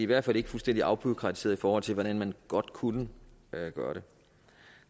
hvert fald ikke fuldstændig afbureaukratiseret i forhold til hvordan man godt kunne gøre det